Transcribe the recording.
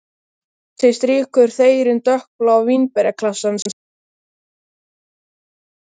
Úti strýkur þeyrinn dökkbláa vínberjaklasana rétt áður en uppskeran hefst.